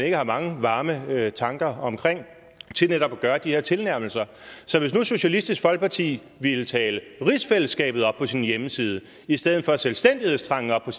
ikke har mange varme tanker om til netop at gøre de her tilnærmelse så hvis nu socialistisk folkeparti ville tale rigsfællesskabet op på sin hjemmeside i stedet for at tale selvstændighedstrangen op